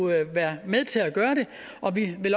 være med til at gøre det og vi vil